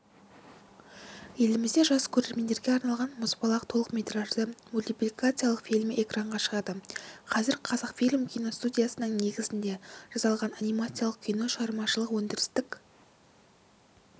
елімізде жас көрермендерге арналған мұзбалақ толықметражды мультипликациялық фильмі экранға шығады қазір қазақфильм киностудиясының негізінде жасалған анимациялық кино шығармашылық-өндірістік